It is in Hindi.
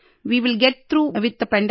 way will get through with the pandemic